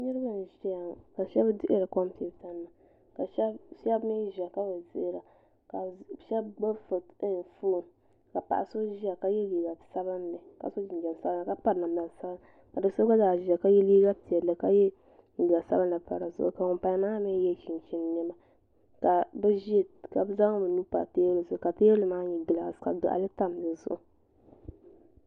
niriba n ʒiya ŋɔ ka shebi dihiri kompita nima ka shebi mii ʒiya ka bi dihira ka shebi gbibi fon ka paɣa so ʒiya ka ye liiga sabinli ka so jinjɛm sabinli ka piri namda sabinli ka do'so gbazaa ʒia ka ye liiga piɛlli ka ye liiga sabinli pa dizuɣu ka ŋun paya maa mi ye chinchin nema ka bɛ zaŋ bɛ nuhi pa teebulu zuɣu ka teebulu maa nyɛ gilasi ka gaɣali tam di zuɣu